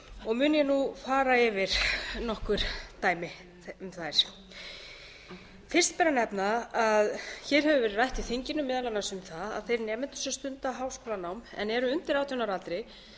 og mun ég nú fara yfir nokkur dæmi um þær fyrst ber að nefna að hér hefur verið rætt í þinginu meðal annars um það að þeir nemendur sem stunda háskólanám en eru undir átján ára aldri